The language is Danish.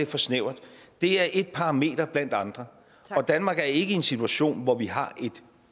for snævert det er et parameter blandt andre og danmark er ikke i en situation hvor vi har et